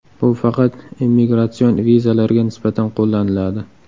Bu faqat immigratsion vizalarga nisbatan qo‘llaniladi.